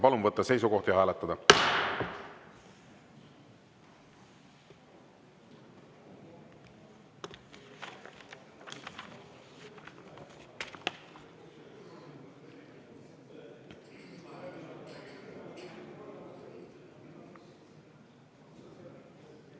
Palun võtta seisukoht ja hääletada!